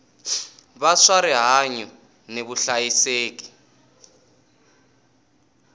va swa rihanyu ni vuhlayiseki